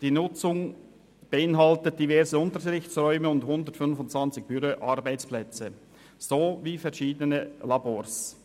Die Nutzung beinhaltet diverse Unterrichtsräume, 125 Arbeitsplätze und verschiedene Labors.